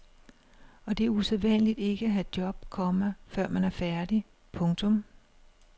Og det er usædvanligt ikke at have job, komma før man er færdig. punktum